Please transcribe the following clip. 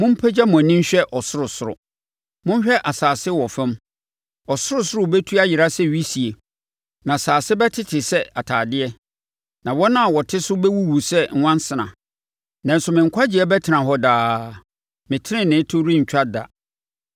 Mompagya mo ani nhwɛ ɔsorosoro, monhwɛ asase wɔ fam; ɔsorosoro bɛtu ayera sɛ wisie na asase bɛtete sɛ atadeɛ na wɔn a wɔte so bɛwuwu sɛ nwansena. Nanso me nkwagyeɛ bɛtena hɔ daa, me tenenee to rentwa da.